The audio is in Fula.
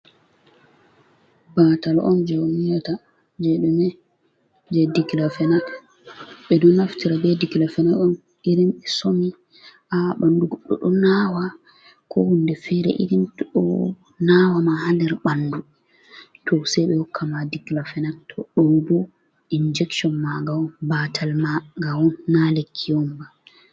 Batal on je onyiata je ɗume? je diklafenat ɓe ɗo naftira be dikilafenat on irin somi ha ɓandu goɗɗo ɗo nawa ko hunde fere irin to ɗo nawama ha der ɓandu to sai ɓe hokka ma diklafenat, to ɗo bo injection magaon batal magaon na lekki omba.